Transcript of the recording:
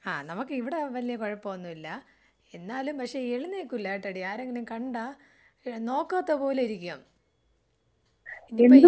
അഹ് നമുക്ക് ഇവിടെ വലിയ കുഴപ്പമൊന്നുമില്ല. എന്നാലും പക്ഷേ എഴുന്നേൽക്കൂലട്ടോടി ആരെങ്കിലും കണ്ടാ ഏ നോക്കാത്ത പോലെയിരിക്കും. ഇത് ഇപ്പോ.